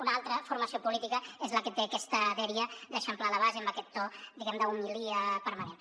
una altra formació política és la que té aquesta dèria d’eixamplar la base i amb aquest to diguem ne d’homilia permanent